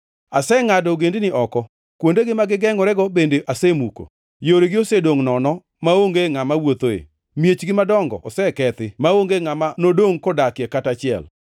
“Asengʼado ogendini oko, kuondegi ma gigengʼorego bende asemuko. Yoregi osedongʼ nono, maonge ngʼama wuothoe. Miechgi madongo osekethi; maonge ngʼama nodongʼ kodakie kata achiel.